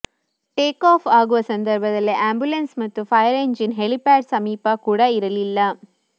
take off ಆಗುವ ಸಂದರ್ಭದಲ್ಲಿ ambulance ಮತ್ತು ಫೈರ್ ಎಂಜಿನ್ ಹೆಲಿಪ್ಯಾಡ್ ಸಮೀಪ ಕೂಡ ಇರಲಿಲ್ಲ